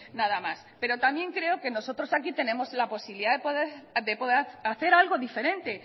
nada más pero también creo que nosotros aquí tenemos la posibilidad de poder hacer algo diferente